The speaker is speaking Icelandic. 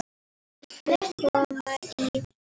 Viltu koma í?